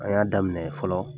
A y'a daminɛ fɔlɔ.